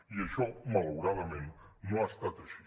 i això malauradament no ha estat així